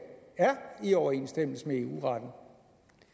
i overensstemmelse med eu retten